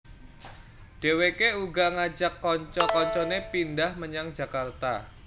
Dheweke uga ngajak kanca kancane pindhah menyang Jakarta